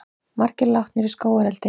Margir látnir í skógareldi